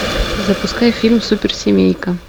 запускай фильм суперсемейка